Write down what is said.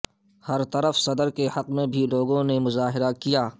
برطرف صدر کے حق میں بھی لوگوں نے مظاہرہ کیا